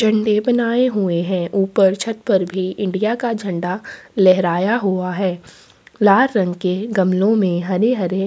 झंडे बनाये हुए है ऊपर छत पर इंडिया का झंडा लहराया हुआ है लाल रंग के गमलो में हरे हरे--